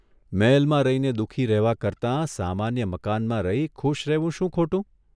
મહેલમાં રહીને દુઃખી રહેવા કરતાં સામાન્ય મકાનમાં રહી ખુશ રહેવું શું ખોટું?